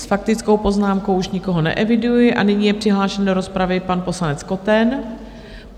S faktickou poznámkou už nikoho neeviduji a nyní je přihlášen do rozpravy pan poslanec Koten.